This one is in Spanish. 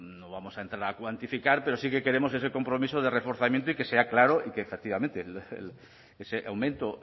no vamos a entrar a cuantificar pero sí que queremos ese compromiso de reforzamiento y que sea claro y que efectivamente ese aumento